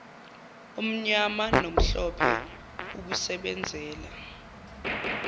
omnyama nomhlophe ukusebenzela